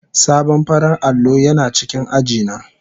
Sabon farar allo yana cikin aji na.